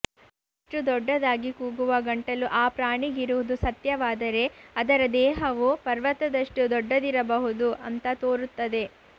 ಇಷ್ಟು ದೊಡ್ಡದಾಗಿ ಕೂಗುವ ಗಂಟಲು ಆ ಪ್ರಾಣಿಗಿರುವುದು ಸತ್ಯವಾದರೆ ಅದರ ದೇಹವೂ ಪರ್ವತದಷ್ಟು ದೊಡ್ಡದಿರಬಹುದು ಅಂತ ತೋರುತ್ತದೆ